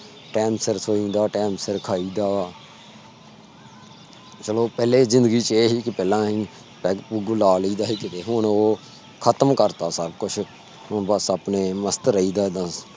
time ਸਿਰ ਸੋਇ ਦਾ time ਸਿਰ ਖਾਇ ਦਾ ਬਾ ਚਲੋ ਪਹਲੇ ਜ਼ਿੰਦਗੀ ਚ ਇਹ ਪੈਗ ਪੁੱਗ ਲਈ ਦਾ ਸੀ। ਕੀਤੇ ਹੁਣ ਉਹ ਖਤਮ ਕਰਤਾ ਸਬ ਕੁਜ ਹੁਣ ਆਪਣੇ ਮਸਤ ਰਹੀ ਦਾ ਬੱਸ